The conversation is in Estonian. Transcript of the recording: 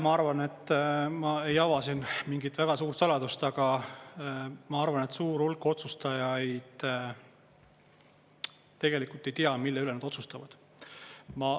Ma arvan, et ma ei ava siin mingit väga suurt saladust, aga ma arvan, et suur hulk otsustajaid tegelikult ei tea, mille üle nad otsustavad.